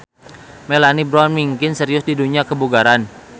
Melanie Brown mingkin serius di dunya kebugaran.